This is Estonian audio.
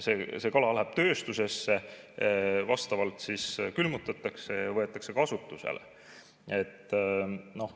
See kala läheb tööstusesse, see siis külmutatakse ja võetakse kasutusele.